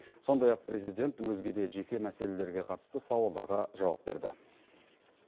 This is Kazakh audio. сондай ақ президент өзге де жеке мәселелерге қатысты сауалдарға жауап берді